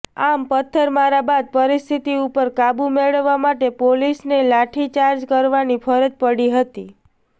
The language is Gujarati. આમ પથ્થરમારા બાદ પરિસ્થિતિ ઉપર કાબૂ મેળવવા માટે પોલીસને લાઠીચાર્જ કરવાની ફરજ પડી હતી